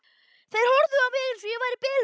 Þeir horfðu á mig eins og ég væri biluð.